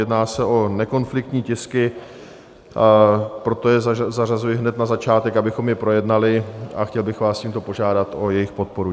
Jedná se o nekonfliktní tisky, proto je zařazuji hned na začátek, abychom je projednali, a chtěl bych vás tímto požádat o jejich podporu.